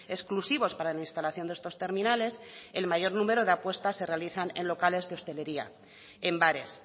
exclusivos para la instalación de estos terminales el mayor número de apuestas se realizan en locales de hostelería en bares